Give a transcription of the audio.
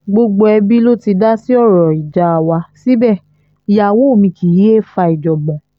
gbogbo ẹbí ló ti dá sí ọ̀rọ̀ ìjà wa síbẹ̀ ìyàwó mi kì í yéé fa ìjàngbọ̀n